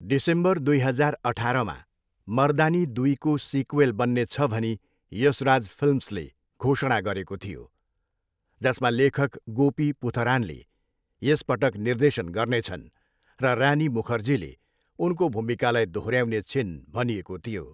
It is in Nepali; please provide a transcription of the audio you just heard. डिसेम्बर दुई हजार अठारमा, मर्दानी दुईको सिक्वेल बन्नेछ भनी यशराज फिल्म्सले घोषणा गरेको थियो, जसमा लेखक गोपी पुथरानले यस पटक निर्देशन गर्नेछन्, र रानी मुखर्जीले उनको भूमिकालाई दोहोऱ्याउने छिन् भनिएको थियो।